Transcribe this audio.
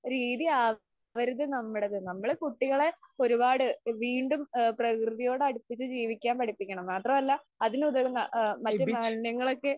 ഒരു രീതി ആവരുത് നമ്മടെത്. നമ്മള് കുട്ടികളെ ഒരുപാട് വീണ്ടും ആ പ്രകൃതിയോട് അടുപ്പിച്ച് ജീവിക്കാൻ പഠിപ്പിക്കണം. മാത്രമല്ല അതിന് ഉതകുന്ന ആ മറ്റ് മാലിന്യങ്ങളൊക്കെ